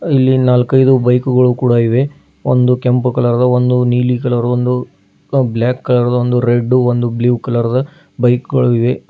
ಇಲ್ಲಿ ನಾಲ್ಕೈದು ಬೈಕು ಗಳು ಕೂಡ ಇವೆ ಒಂದು ಕೆಂಪು ಕಲರ್ದು ಒಂದು ನೀಲಿ ಕಲರ್ದು ಒಂದು ಬ್ಲಾಕ್ ಕಲರ್ದು ಒಂದು ರೆಡ್ ಒಂದು ಬ್ಲೂ ಕಲರ್ದ ಬೈಕ್ ಗಳಿವೆ.